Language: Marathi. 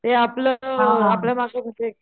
ते आपलं आपल्या मागे कशे,